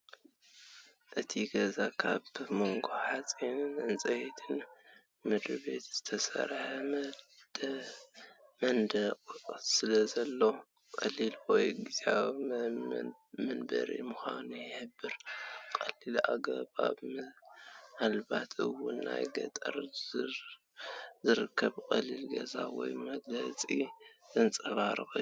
እቲ ገዛ ካብ ሞገድ ሓጺንን ዕንጨይቲ ምድሪቤትን ዝተሰርሐ መንደቕ ስለዘለዎ፡ ቀሊል ወይ ግዝያዊ መንበሪ ምዃኑ ይሕብር። ቀሊል ኣነባብራ ምናልባት እውን ኣብ ገጠር ዝርከብ ቀሊል ገዛ ወይ መጽለሊ ዘንጸባርቕ እዩ፡፡